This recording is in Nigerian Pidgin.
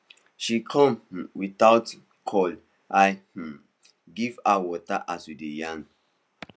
she come um without um call i um give her water as we dey yarn